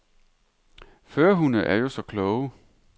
Førerhunde er jo så kloge.